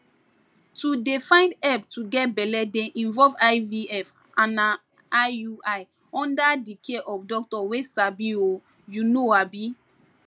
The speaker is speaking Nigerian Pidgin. to dey find help to get belle dey involve ivf ana iui under the care of doctor wey sabi ohh you know abii